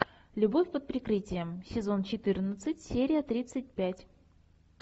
любовь под прикрытием сезон четырнадцать серия тридцать пять